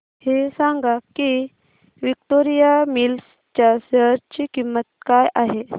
हे सांगा की विक्टोरिया मिल्स च्या शेअर ची किंमत काय आहे